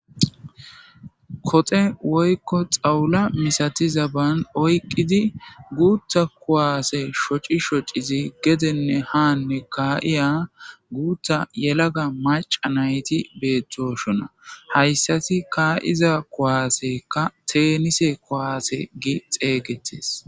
kote woykko xawula misatiza ban oyqqidi guutha kuwaase shoci shocizi gedenne haanne kaa7iya guutha yelaga maca nayti beettoshona hayssati kaa7iza kuwaasekka teenise kowaase gi xeeygetes